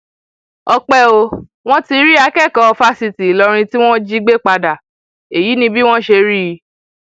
ọpẹ o wọn ti rí akẹkọọ fásitì ìlọrin tí wọn jí gbé padà èyí ni bí wọn ṣe rí i